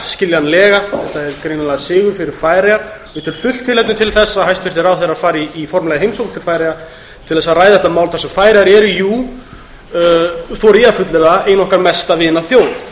skiljanlega þetta er greinilega sigur fyrir færeyjar ég tel fullt tilefni til að hæstvirtir ráðherrar fari í formlegra heimsókn til færeyja til að ræða þetta mál þar sem færeyjar eru þori ég að fullyrða ein okkar mesta vinaþjóð